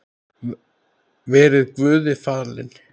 Verið Guði falin.